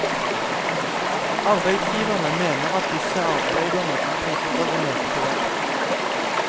Arbeidsgiverne mener at disse arbeiderne plikter å møte på jobb.